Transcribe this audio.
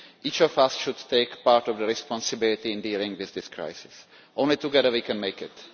Each of us should assume part of the responsibility for dealing with this crisis. Only together can we make it.